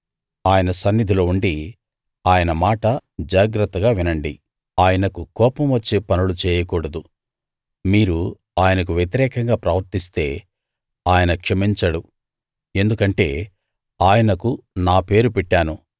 ఆయన సన్నిధిలో ఉండి ఆయన మాట జాగ్రత్తగా వినండి ఆయనకు కోపం వచ్చే పనులు చేయకూడదు మీరు ఆయనకు వ్యతిరేకంగా ప్రవర్తిస్తే ఆయన క్షమించడు ఎందుకంటే ఆయనకు నా పేరు పెట్టాను